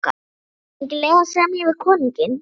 Er engin leið að semja við konunginn?